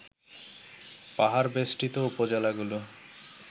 পাহাড়বেষ্ঠিত উপজেলাগুলো